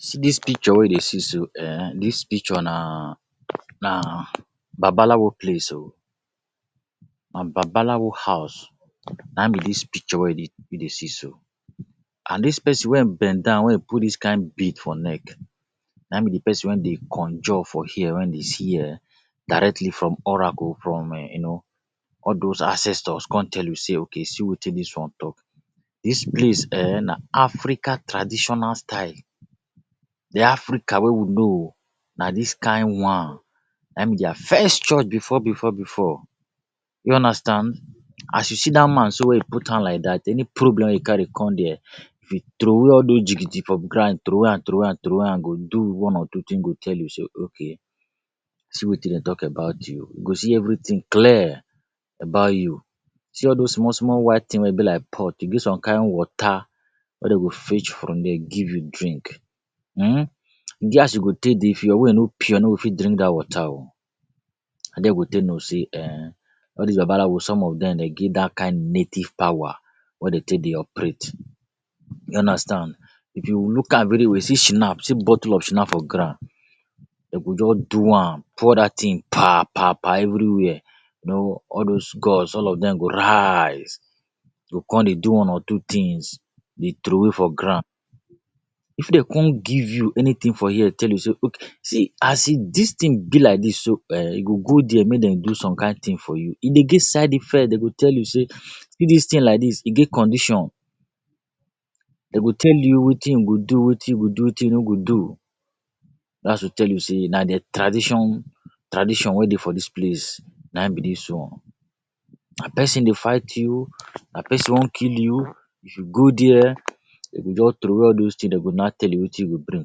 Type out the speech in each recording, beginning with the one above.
See dis picture wey you dey see so um, dis picture na na Babalawo place o. Na Babalawo house na in be dis picture wey you you dey see so. And dis person wey bend down, wey e put dis kind bead for neck, na be de person wey dey conjure for here, wey dey see um directly from oracle from um you know, all dos ancestors come tell you sey okay see wetin dis one talk. Dis priest um na African traditional style. De Africa wey we know o, na dis kind one na be their first church before before before. You understand. As you see that man so wey e put hand like that, any problem wey you carry come dia, if e throw away all those jigijigi for ground, throw away am, throw away am, throw away am, go do one or two thing, go tell you sey okay see wetin dem talk about you. E go see everything clear about you. See all those small small white thing wey be like pot, e get some kind water wey dem go fetch from there give you drink um, e get as you go take dey fear when you no pure, you no go fit drink that water o. Na there you go take know sey um, all these Babalawo some of dem dey get that kind native power wey dem take dey operate. You understand. If you look am very well, see schnaap, bottle of shnaap for ground. Dem go just do am, pour that thing pa pa pa everywhere. You know, all those gods, all of dem go rise, go come dey do one or two things, dey throw away for ground. If dem come give you anything for here, tell you sey See as dis thing be like dis so um, you go go there make dem do some kind thing for you. E dey get side effect. Dem go tell you sey see dis thing like dis e get condition. Dem go tell you wetin you go do, wetin you go do, wetin you no go do. That’s to tell you sey na their tradition tradition wey dey for dis place na in be dis one. Na person dey fight you, na person want kill you, if you go there, dem go just throw away all those thing. Dem go na tell you wetin you go bring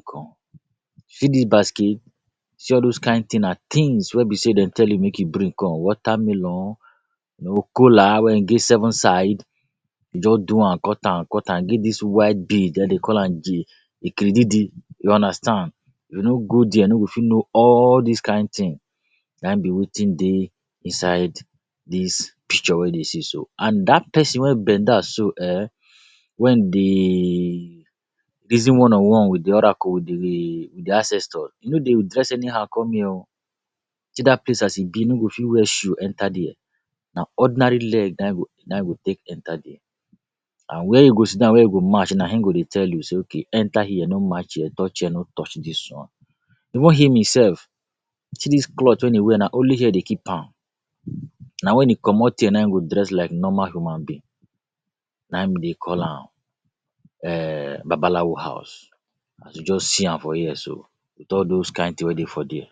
come. See dis basket, see all those kind thing na things wey be sey dem tell you make you bring come. Watermelon, you know kola wey e dey seven side. Dem just do am, cut am, cut am. E get dis white bead, dem dey call am If you no go there, you no go fit know all this kind thing. Na in be wetin dey inside dis picture wey you dey see so And that person wey bend down so um, wen dey reason one on one with de other oracle, with di ancestor, you no go dey dress anyhow come here o. See that place as e be, you no go fit wear shoe enter there. Na ordinary leg na you go take na you go take enter there. And where you go sit down, where you go match na him go dey tell you sey okay enter here, no match here, touch here, no touch dis one. Even him himself, see dis cloth wey e wear na only here dem keep am. Na when e comot here na e go dress like normal human being. Na we dey call am um Babalawo house as you just see am for here so with all those kind thing wey dey for there.